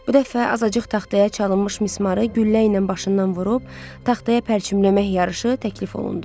Bu dəfə azacıq taxtaya çalınmış mismarı güllə ilə başından vurub taxtaya pərçimləmək yarışı təklif olundu.